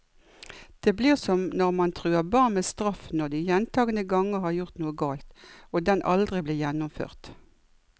Det blir som når man truer barn med straff når de gjentagende ganger har gjort noe galt, og den aldri blir gjennomført.